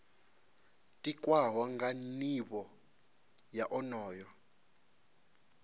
tikwaho nga nivho ya onoyo